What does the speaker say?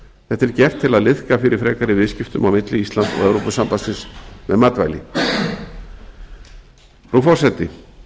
þetta er gert til að liðka fyrir frekari viðskiptum á milli íslands og evrópusambandsins með matvæli frú forseti